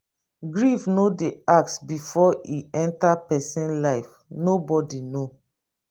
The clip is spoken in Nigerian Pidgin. grief no dey ask before e enter person life nobody know